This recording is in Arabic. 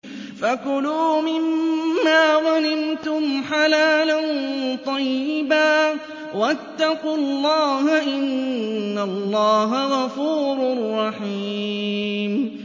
فَكُلُوا مِمَّا غَنِمْتُمْ حَلَالًا طَيِّبًا ۚ وَاتَّقُوا اللَّهَ ۚ إِنَّ اللَّهَ غَفُورٌ رَّحِيمٌ